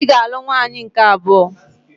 Ị ga-alụ nwaanyị nke abụọ.